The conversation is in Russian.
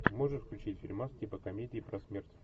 можешь включить фильмас типа комедии про смерть